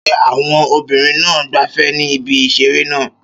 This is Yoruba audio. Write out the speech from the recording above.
Ṣé àwọn obìnrin náà ń gbafẹ́ ní ibi ìseré náà?